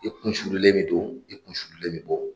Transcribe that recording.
I kun sululen bɛ don i kun sululen bɛ bɔ